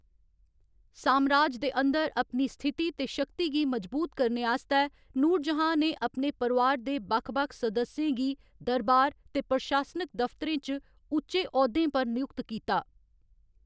सामराज दे अंदर अपनी स्थिति ते शक्ति गी मजबूत करने आस्तै, नूरजहाँ ने अपने परोआर दे बक्ख बक्ख सदस्यें गी दरबार ते प्रशासनिक दफ्तरें च उच्चे औह्‌दें पर नयुक्त कीता।